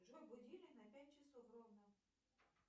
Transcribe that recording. джой будильник на пять часов ровно